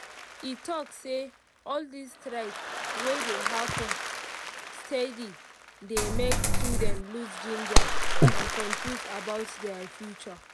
e talk say all these strike wey dey happen steady dey make students lose ginger and confuse about their future